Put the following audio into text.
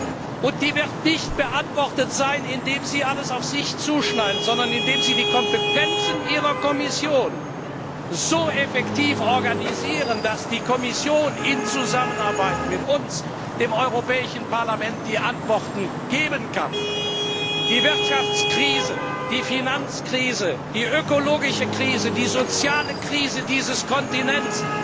Diese Frage wird nicht beantwortet sein, indem Sie alles auf sich zuschneiden, sondern indem Sie die Kompetenzen Ihrer Kommission so effektiv organisieren, dass die Kommission in Zusammenarbeit mit uns, dem Europäischen Parlament, die Antworten geben kann. Die Wirtschaftskrise, die Finanzkrise, die ökologische Krise, die soziale Krise dieses Kontinents